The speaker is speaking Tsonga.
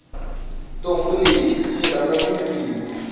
ntombhi leyi yi rhandza tindzimi